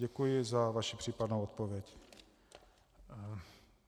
Děkuji za vaši případnou odpověď.